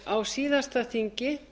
á síðasta þingi